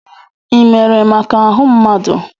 Ị mere maka ahụ mmadụ?